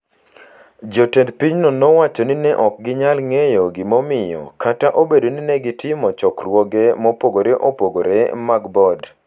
Jotend pinyno nowacho ni ne ok ginyal ng’eyo gimomiyo kata obedo ni ne gitimo chokruoge mopogore opogore mag board,